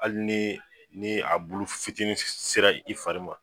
Hali ni ni a bulu fitinin sera i fari ma